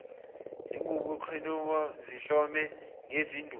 zinguqhibukhowe zihlome ngezinduku